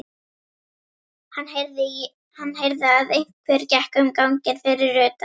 Hann heyrði að einhver gekk um ganginn fyrir utan.